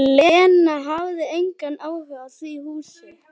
En Lena hafði engan áhuga á því húsi.